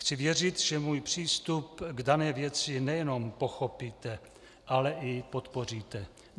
Chci věřit, že můj přístup k dané věci nejenom pochopíte, ale i podpoříte.